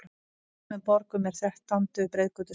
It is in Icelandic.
Í sumum borgum er þrettándu breiðgötu sleppt.